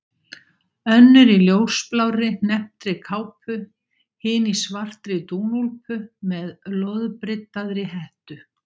Önnur í ljósblárri, hnepptri kápu, hin í svartri dúnúlpu með loðbryddaðri hettu.